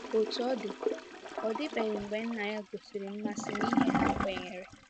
Otú ọ dị, ọ dịbeghị mgbe nna ya gosiri mmasị na ihe ha kwenyere.